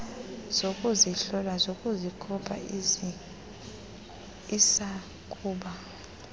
zokuzihlola nokuzikopa isakuba